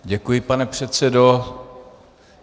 Děkuji, pane předsedo.